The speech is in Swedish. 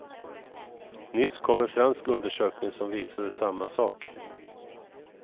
Nyss kom en fransk undersökning som visade samma sak.